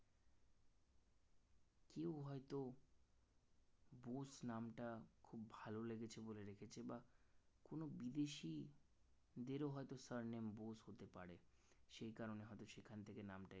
নামটা খুব ভালো লেগেছে বলে রেখেছে বা কোন বিদেশি দেরও হয়তো surname বোস হতে পারে সেই কারণে হয়তো সেখান থেকে নামটা